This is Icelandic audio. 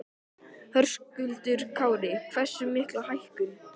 Höskuldur Kári: Hversu mikla hækkun?